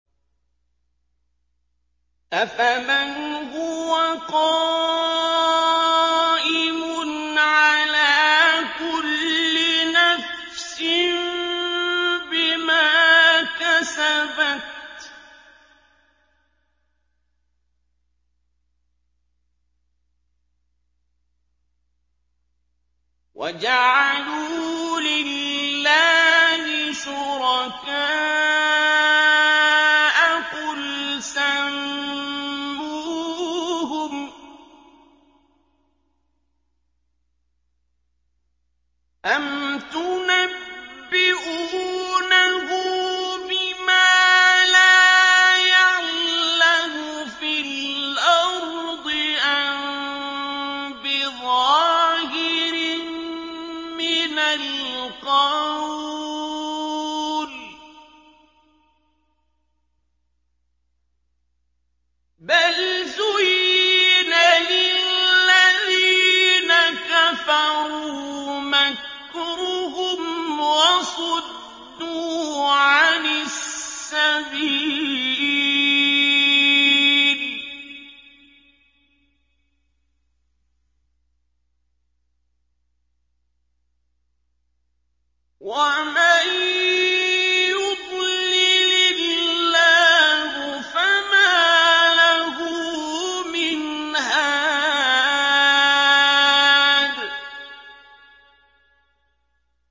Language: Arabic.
أَفَمَنْ هُوَ قَائِمٌ عَلَىٰ كُلِّ نَفْسٍ بِمَا كَسَبَتْ ۗ وَجَعَلُوا لِلَّهِ شُرَكَاءَ قُلْ سَمُّوهُمْ ۚ أَمْ تُنَبِّئُونَهُ بِمَا لَا يَعْلَمُ فِي الْأَرْضِ أَم بِظَاهِرٍ مِّنَ الْقَوْلِ ۗ بَلْ زُيِّنَ لِلَّذِينَ كَفَرُوا مَكْرُهُمْ وَصُدُّوا عَنِ السَّبِيلِ ۗ وَمَن يُضْلِلِ اللَّهُ فَمَا لَهُ مِنْ هَادٍ